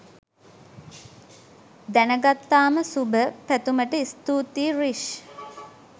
දැන ගත්තාම සුභ පැතුමට ස්තූතියි රිෂ්.